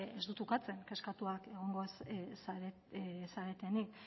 ez dut ukatzen kezkatuak egongo zaretenik